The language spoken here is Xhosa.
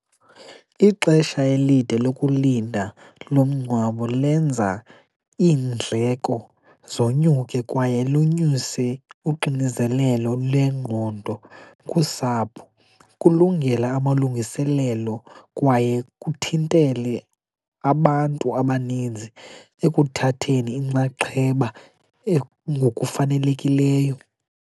Ixesha elide lokulinda lomngcwabo lenza iindleko zonyuke kwaye lonyuse uxinizelelo lwengqondo kusapho, kulungela amalungiselelo kwaye kuthintele abantu abaninzi ekuthatheni inxaxheba ngukufanelekileyo.